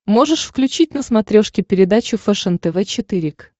можешь включить на смотрешке передачу фэшен тв четыре к